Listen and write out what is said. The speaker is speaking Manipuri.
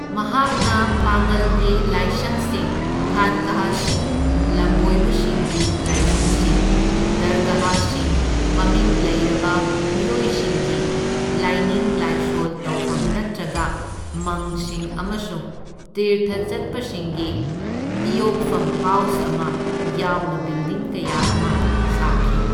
ꯃꯍꯥꯛꯅ ꯄꯥꯡꯉꯜꯒꯤ ꯂꯥꯏꯁꯪꯁꯤꯡ, ꯈꯥꯟꯀꯥꯍꯁꯤꯡ ꯂꯝꯕꯣꯏꯕꯁꯤꯡꯒꯤ ꯂꯥꯏꯐꯝꯁꯤꯡ, ꯗꯔꯒꯥꯍꯁꯤꯡ ꯃꯃꯤꯡ ꯂꯩꯔꯕ ꯃꯤꯑꯣꯏꯁꯤꯡꯒꯤ ꯂꯥꯏꯅꯤꯡ ꯂꯥꯏꯁꯣꯜ ꯇꯧꯐꯝ ꯅꯠꯇ꯭ꯔꯒ ꯃꯪꯁꯤꯡ ꯑꯃꯁꯨꯡ ꯇꯤꯔꯊ ꯆꯠꯄꯁꯤꯡꯒꯤ ꯏꯌꯣꯛꯐꯝ ꯍꯥꯎꯁ ꯑꯃ ꯌꯥꯎꯅ ꯕꯤꯜꯗꯤꯡ ꯀꯌꯥ ꯑꯃ ꯁꯥꯈꯤ꯫